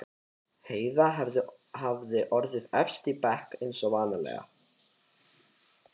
Heiða hafði orðið efst í bekknum eins og vanalega.